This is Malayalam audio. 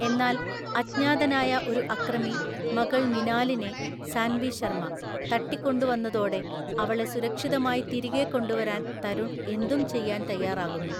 എന്നാൽ അജ്ഞാതനായ ഒരു അക്രമി മകൾ മിനാലിനെ (സാൻവി ശർമ) തട്ടിക്കൊണ്ടുന്നതോടെ അവളെ സുരക്ഷിതമായി തിരികെ കൊണ്ടുവരാൻ തരുൺ എന്തും ചെയ്യാൻ തയ്യാറാകുന്നു.